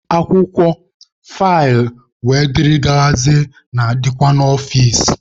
Akwụkwọ, faịlụ wdg na-adịkwa n'ọfici.